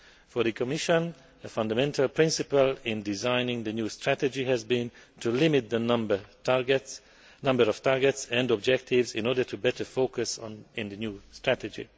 For the Commission, the fundamental principle in designing the new strategy has been to limit the number of targets and objectives in order to better focus the new strategy.